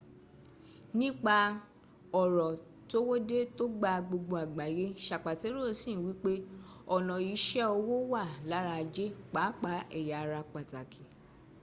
nípa ọ̀rọ̀ towódé tò gba gbogbo àgbáyé sapatero sì n wípé ọ̀nà ìṣe owó wà lára ajé pàápàá èya ara pàtàkì